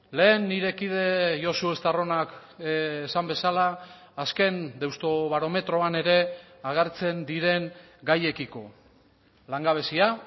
lehen nire kide josu estarronak esan bezala azken deustobarometroan ere agertzen diren gaiekiko langabezia